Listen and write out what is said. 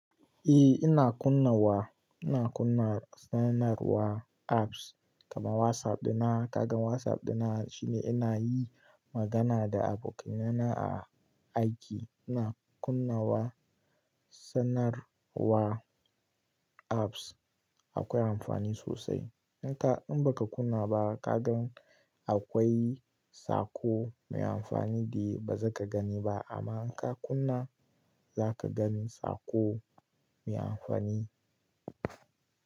Eh ina kunnawa, ina kunna sanarwa apps kamar WhatsApp ɗina. Kaga WhatsApp ɗina shine ina yi magana da abokanina a aiki. Ina kunnawa sanarwa apps akwai amfani sosai. Inka, in baka kunna ba kaga akwai saƙo mai amfani da baza ka gani ba. Amma inka kunna zaka gani saƙo mai amfani.